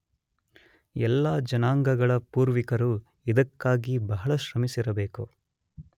ಎಲ್ಲಾ ಜನಾಂಗಗಳ ಪೂವಿರ್ಕರು ಇದಕ್ಕಾಗಿ ಬಹಳ ಶ್ರಮಿಸಿರಬೇಕು.